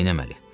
Neynəməli?